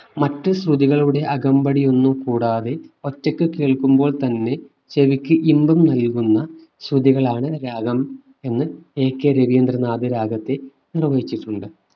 മറ്റു ശ്രുതികളുടെ അകമ്പടി ഒന്നും കൂടാതെ ഒറ്റയ്ക്ക് കേൾക്കുമ്പോൾ തന്നെ ചെവിക്ക് ഇമ്പം നൽകുന്ന ശ്രുതികളാണ് രാഗം എന്ന് എ കെ രവീന്ദ്രനാഥ് രാഗത്തെ ഉപമിച്ചിട്ടുണ്ട്